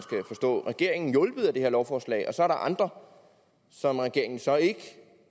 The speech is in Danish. på regeringen hjulpet af det her lovforslag og så er andre som regeringen så ikke